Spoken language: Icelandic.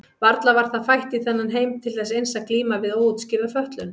Varla var það fætt í þennan heim til þess eins að glíma við óútskýrða fötlun?